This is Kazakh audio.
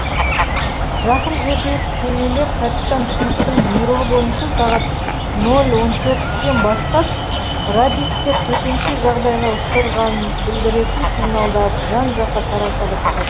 жақын жердегі кемелер капитан смиттің бұйрығы бойынша сағат нөл он төрттен бастап радистер төтенше жағдайға ұшырғанын білдіретін сигналдарды жан жаққа тарата бастады